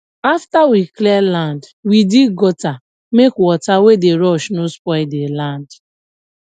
after we clear land we dig gutter make water wey dey rush no spoil the land